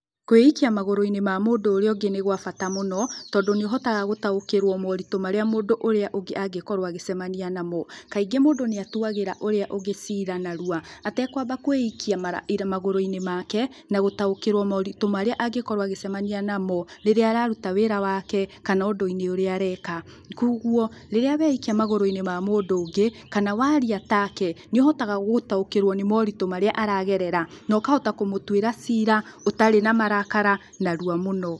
Kwĩikia magũrũ-inĩ ma mũndũ ũrĩa ũngĩ nĩ gwa bata mũno, tondũ nĩũhotaga gũtaũkĩrũo maũritũ marĩa mũndũ ũrĩa ũngĩ angĩkorwo agĩcemania namo. Kaingĩ mũndũ nĩatuagĩra mũndũ ũrĩa ũngĩ cira narua, atekwamba kwĩikia magũrũ-inĩ make, na gũtaũkĩrũo maũrĩtũ marĩa angĩkorwo agĩcemania namo, rĩrĩa araruta wĩra wake, kana ũndũ-inĩ ũrĩa areka. Kuoguo, rĩrĩa weikia magũrũ-inĩ ma mũndũ ũngĩ, kana waria take, nĩũhotaga gũtaũkĩrũo nĩ moritũ marĩa aragerera, na ũkahota kũmũtuĩra cira, ũtarĩ na marakara, narua mũno.